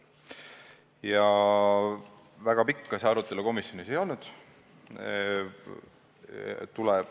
Ja väga pikk see arutelu komisjonis ei olnud.